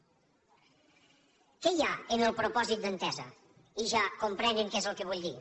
què hi ha en el propòsit d’entesa i ja comprenen què és el que vull dir